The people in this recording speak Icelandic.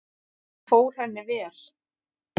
Hann fór henni vel.